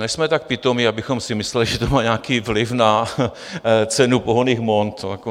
Nejsme tak pitomí, abychom si mysleli, že to má nějaký vliv na cenu pohonných hmot.